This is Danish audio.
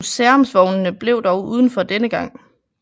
Museumsvognene blev dog udenfor denne gang